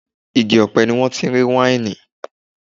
Igi ọ̀pẹ ni wọ́n ti ń rí wáìnì.